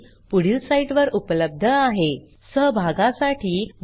ह्या ट्युटोरियलचे भाषांतर मनाली रानडे यांनी केले असून मी रंजना भांबळे आपला निरोप घेते160